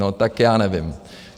No tak já nevím.